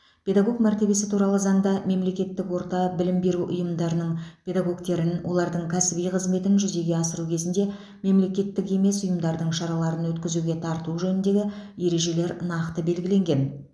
педагог мәртебесі туралы заңда мемлекеттік орта білім беру ұйымдарының педагогтерін олардың кәсіби қызметін жүзеге асыру кезінде мемлекеттік емес ұйымдардың шараларын өткізуге тарту жөніндегі ережелер нақты белгіленген